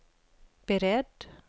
beredd